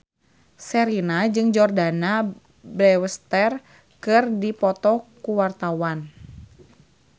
Sherina jeung Jordana Brewster keur dipoto ku wartawan